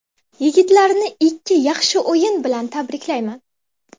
Yigitlarni ikki yaxshi o‘yin bilan tabriklayman.